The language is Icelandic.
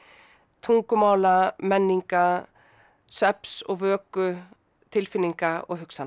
tungumála menninga svefns og vöku tilfinninga og hugsana